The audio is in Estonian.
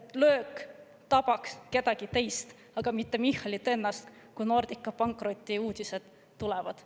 et löök tabaks kedagi teist, mitte Michalit ennast, kui Nordica pankrotiuudised tulevad.